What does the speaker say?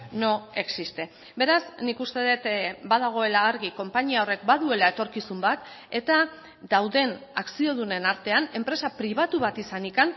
no existe beraz nik uste dut badagoela argi konpainia horrek baduela etorkizun bat eta dauden akziodunen artean enpresa pribatu bat izanik